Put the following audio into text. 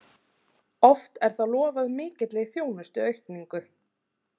Oft er þá lofað mikilli þjónustuaukningu.